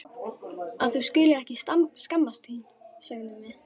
Að þú skulir ekki skammast þín, sögðum við.